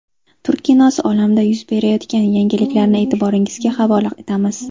Turk kinosi olamida yuz berayotgan yangiliklarni e’tiboringizga havola etamiz.